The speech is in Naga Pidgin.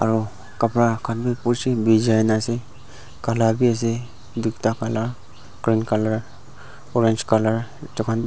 aro kapara khan bi bijai na asae kala bi asae doita kala green colour orange colour .]